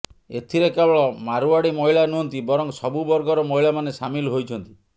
ଏଥିରେ କେବଳ ମାରୱାଡ଼ି ମହିଳା ନୁହନ୍ତି ବରଂ ସବୁ ବର୍ଗର ମହିଳାମାନେ ସାମିଲ ହୋଇଛନ୍ତି